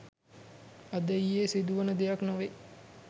අද ඊයේ සිදුවන දෙයක් නොවේ